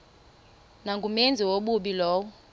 nangumenzi wobubi lowo